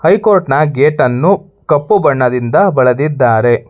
High court ನ gate ಅನ್ನು ಕಪ್ಪು ಬಣ್ಣದಿಂದ ಬಳದಿದ್ದಾರೆ.